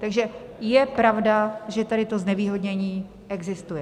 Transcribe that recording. Takže je pravda, že tady to znevýhodnění existuje.